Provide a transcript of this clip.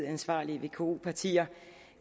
ansvarlige vko partier